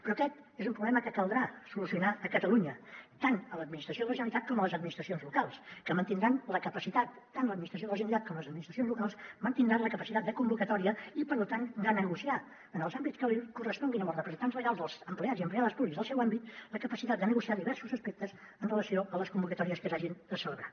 però aquest és un problema que caldrà solucionar a catalunya tant a l’administració de la generalitat com a les administracions locals que mantindran la capacitat tant l’administració de la generalitat com les administracions locals la capacitat de convocatòria i per tant de negociar en els àmbits que els corresponguin amb els representants legals dels empleats i empleades públics del seu àmbit la capacitat de negociar diversos aspectes en relació amb les convocatòries que s’hagin de celebrar